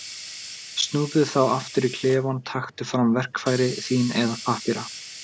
Snúðu þá aftur í klefann, taktu fram verkfæri þín eða pappíra.